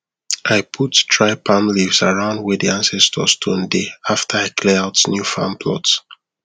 i put dry palm leaves around where the ancestor stone dey after i clear out new farm plot